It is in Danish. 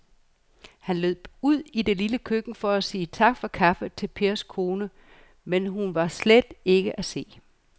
Han løb ud i det lille køkken for at sige tak for kaffe til Pers kone, men hun var ikke til at se.